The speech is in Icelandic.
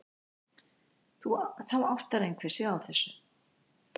Þá áttar einhver sig á þessu.